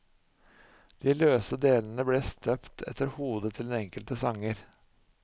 De løse delene ble støpt etter hodet til den enkelte sanger.